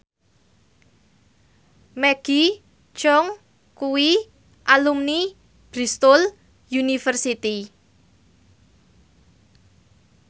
Maggie Cheung kuwi alumni Bristol university